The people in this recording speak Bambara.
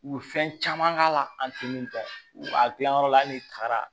U ye fɛn caman k'a la an tɛ min dɔn u b'a gilan yɔrɔ la hali n'i taara